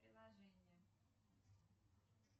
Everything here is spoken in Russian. приложение